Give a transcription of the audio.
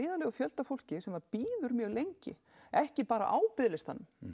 fjöldi fólks sem bíður mjög lengi ekki bara á biðlistanum